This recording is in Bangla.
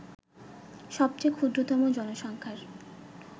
সবচেয়ে ক্ষুদ্রতম জনসংখ্যার